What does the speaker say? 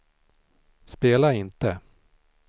spela inte